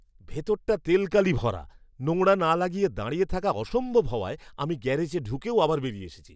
ভেতরটা তেলকালি ভরা। নোংরা না লাগিয়ে দাঁড়িয়ে থাকা অসম্ভব হওয়ায়, আমি গ্যারেজে ঢুকেও আবার বেরিয়ে এসেছি।